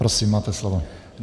Prosím, máte slovo.